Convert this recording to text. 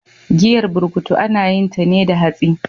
Giyar burkutu ana yinta ne da hatsi.